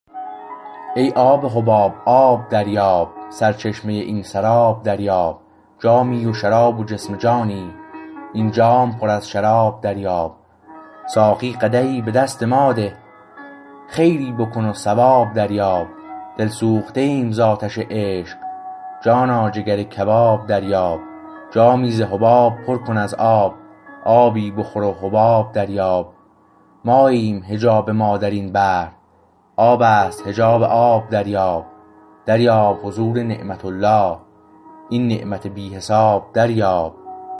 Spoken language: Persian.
ای آب حباب آب دریاب سرچشمه این سراب دریاب جامی و شراب و جسم و جانی این جام پر از شراب دریاب ساقی قدحی به دست ما ده خیری بکن و ثواب دریاب دلسوخته ایم ز آتش عشق جانا جگر کباب دریاب جامی ز حباب پر کن از آب آبی بخور و حباب دریاب ماییم حجاب ما در این بحر آبست حجاب آب دریاب دریاب حضور نعمت الله این نعمت بی حساب دریاب